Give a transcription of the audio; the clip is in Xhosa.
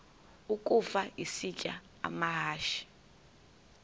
ukafa isitya amahashe